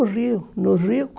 No Rio, no Rio